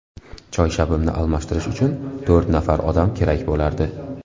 Choyshabimni almashtirish uchun to‘rt nafar odam kerak bo‘lardi.